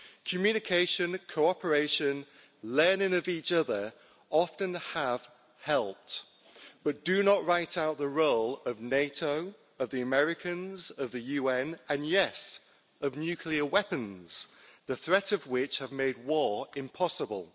Communication, cooperation and learning off each other often have helped but do not write out the role of NATO, of the Americans, of the UN, and yes, of nuclear weapons, the threat of which have made war impossible.